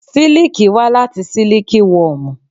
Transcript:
Siliki wá láti Siliki wọmu.